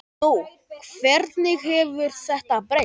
Nú, hvernig hefur þetta breyst?